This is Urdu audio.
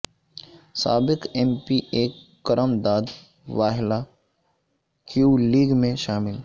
سابق M P A Karam Dad Wahla Q league میں شامل